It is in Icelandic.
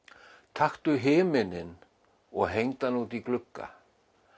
taktu himininn og hengdu hann út í glugga